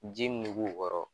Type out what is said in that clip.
Ji mun be k'u kɔrɔ